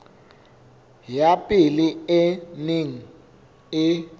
ya pele e neng e